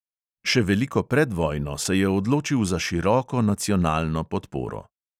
Še veliko pred vojno se je odločil za široko nacionalno podporo.